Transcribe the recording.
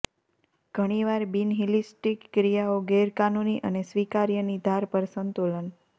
ઘણીવાર બિનહિલિસ્ટિક ક્રિયાઓ ગેરકાનૂની અને સ્વીકાર્ય ની ધાર પર સંતુલન